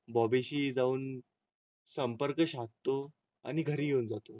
बॉबीशी जाऊन संपर्क साधतो आणि घरी घेऊन जातो.